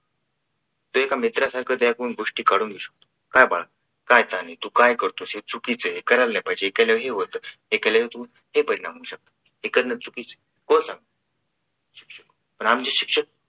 तो का मित्रा सारख्या त्याच्या कडून गोष्टी काढून घेऊ शकतो. काय बाळा काय चाललंय तू काय करतोस हे चुकीच आहे करायला नाही पाहिजे हे केल्यावर हे होतं हे केल्यावर तू हे परिणाम होऊ शकतात हे करणं चुकीच आहे कोण सांगणार पण आमचे शिक्षक